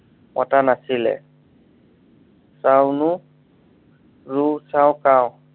পতা নাছিলে চাও লু ৰু চাও কাও